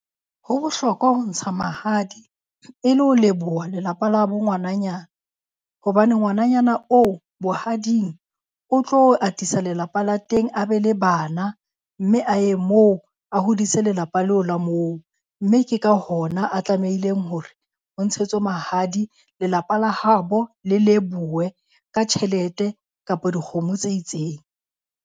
Ho bohlokwa ho ntsha mahadi e le ho leboha lelapa la bo ngwananyana. Hobane ngwananyana oo bohading o tlo atisa lelapa la teng a be le bana mme a ye moo, a hodise lelapa leo la moo. Mme ke ka hona a tlamehileng hore o ntshetswe mahadi, lelapa la habo le lebohuwe ka tjhelete kapo dikgomo tse itseng.